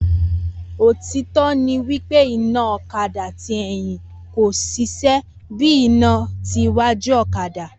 otitọ ni wípé iná ọ̀kadà tí ẹ̀yìn kò ṣiṣẹ́ bíí iná tí wájú ọ̀kadà